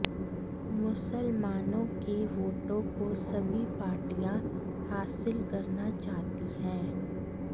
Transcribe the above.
मुसलमानों के वोटों को सभी पार्टियाँ हासिल करना चाहती हैं